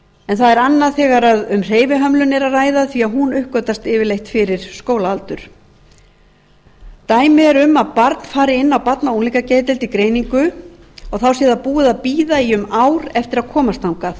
en það er annað þegar um hreyfihömlun er að ræða því hún uppgötvast yfirleitt fyrir skólaaldur dæmi er um að barn fari inn á barna og unglingageðdeild í greiningu og þá sé það búið að bíða í um ár eftir að komast þangað